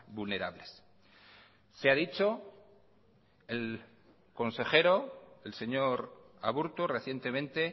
vulnerables se ha dicho el consejero el señor aburto recientemente